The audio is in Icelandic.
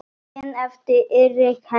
Daginn eftir að Erika Hendrik